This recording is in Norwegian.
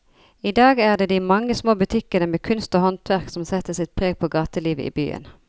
I dag er det de mange små butikkene med kunst og håndverk som setter sitt preg på gatelivet i byen.